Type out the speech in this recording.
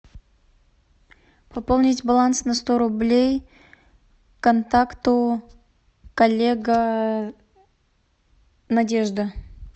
пополнить баланс на сто рублей контакту коллега надежда